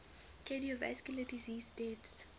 cardiovascular disease deaths